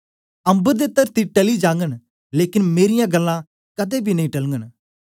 अम्बर ते तरती टली जागन लेकन मेरीयां गल्लां कदें बी नी टलगन